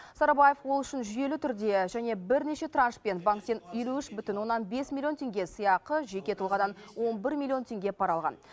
сарыбаев ол үшін жүйелі түрде және бірнеше траншпен банктен елу үш бүтін оннан бес миллион теңге сыйақы жеке тұлғадан он бір миллион теңге пара алған